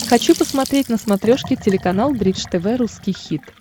хочу посмотреть на смотрешке телеканал бридж тв русский хит